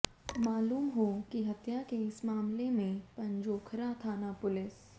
मालूम हो कि हत्या के इस मामले में पंजोखरा थाना पुलिस